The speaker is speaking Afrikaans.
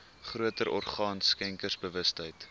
groter orgaan skenkersbewustheid